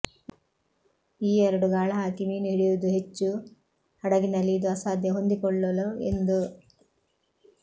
ಈ ಎರಡು ಗಾಳಹಾಕಿ ಮೀನು ಹಿಡಿಯುವುದು ಹೆಚ್ಚು ಹಡಗಿನಲ್ಲಿ ಇದು ಅಸಾಧ್ಯ ಹೊಂದಿಕೊಳ್ಳಲು ಎಂದು